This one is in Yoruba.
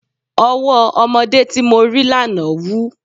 Ọwọ́ ọmọdé tí mo rí lánàá wú.